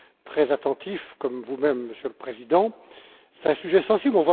très attentif, comme vous même, Monsieur le Président est un sujet sensible.